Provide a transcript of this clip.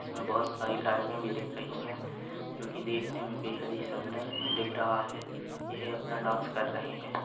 इसमे बहुत सारी लाइटे भी दिख रही है जो कि देखने मे बेहद ही सुंदर दिख रहा है यह अपना डास कर रहे है।